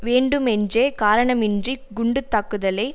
வேண்டுமென்றே காரணமின்றி குண்டு தாக்குதலை